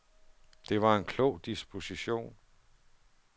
Det var en klog disposition.